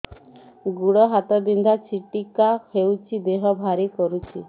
ଗୁଡ଼ ହାତ ବିନ୍ଧା ଛିଟିକା ହଉଚି ଦେହ ଭାରି କରୁଚି